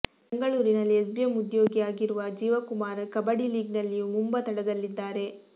ಬೆಂಗಳೂರಿನಲ್ಲಿ ಎಸ್ಬಿಎಂ ಉದ್ಯೋಗಿಯಾಗಿರುವ ಜೀವಾ ಕುಮಾರ್ ಕಬಡ್ಡಿ ಲೀಗ್ನಲ್ಲಿ ಯು ಮುಂಬಾ ತಂಡದಲ್ಲಿದ್ದಾರೆ